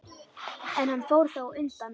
En hann fór þá undan.